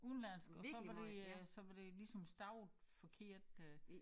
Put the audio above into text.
Udenlandsk og så var det øh så var det ligesom stavet forkert øh